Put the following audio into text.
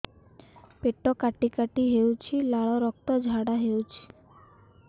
ପେଟ କାଟି କାଟି ହେଉଛି ଲାଳ ରକ୍ତ ଝାଡା ହେଉଛି